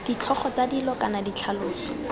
ditlhogo tsa dilo kana ditlhaloso